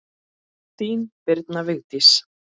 Þín, Birna Vigdís.